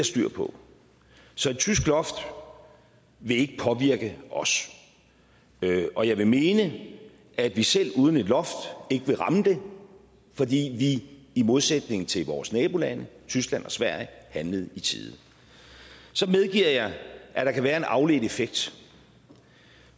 styr på så et tysk loft vil ikke påvirke os og jeg vil mene at vi selv uden et loft ikke vil ramme det fordi vi i modsætning til vores nabolande tyskland og sverige handlede i tide så medgiver jeg at der kan være en afledt effekt